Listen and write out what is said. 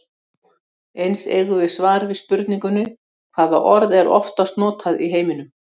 Eins eigum við svar við spurningunni Hvaða orð er oftast notað í heiminum?